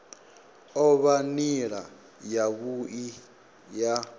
o vha nila yavhui ya